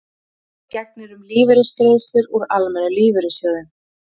öðru máli gegnir um lífeyrisgreiðslur úr almennum lífeyrissjóðum